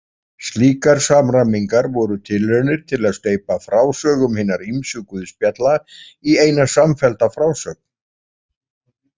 Slíkar samræmingar voru tilraunir til að steypa frásögum hinna ýmsu guðspjalla í eina samfellda frásögn.